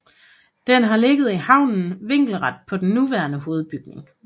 Den har ligget i haven vinkelret på den nuværende hovedbygning